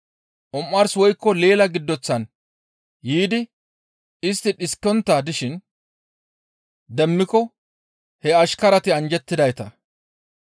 Omars woykko leela giddoththan yiidi istti dhiskontta dishin demmiko he ashkarati anjjettidayta.